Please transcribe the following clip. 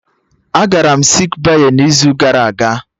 Agara m sik bey n'izu gara aga